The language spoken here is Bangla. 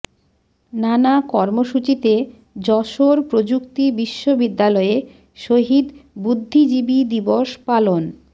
নানা কর্মসূচিতে যশোর প্রযুক্তি বিশ্ববিদ্যালয়ে শহীদ বুদ্ধিজীবী দিবস পালন